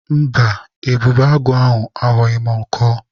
Mba, ebubeagụ ahụ agbọghị m ọkọ.